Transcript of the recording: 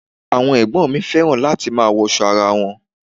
Àwọn ẹ̀gbọ́n mi fẹ́ràn láti máa wọṣọ ara won.